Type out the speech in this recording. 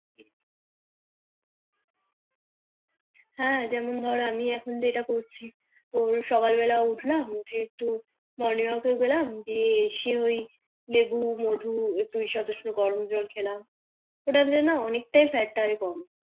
হ্যাঁ যেমন ধর আমি এখন যেটা করছি ভোর সকাল বেলা উঠলাম উঠে একটু Morning Walk গেলাম দিয়ে এসে ওই লেবু মধু দিয়ে গরম জল খেলাম ওটাতে না অনেকটা Fat কমে